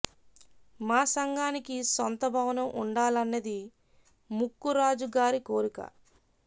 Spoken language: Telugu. మా సంఘానికి సొంత భవనం ఉండాలన్నది ముక్కు రాజు గారి కోరిక